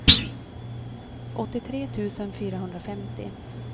åttiotre tusen fyrahundrafemtio